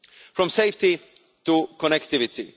From safety to connectivity.